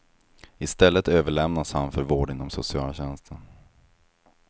I stället överlämnas han för vård inom socialtjänsten.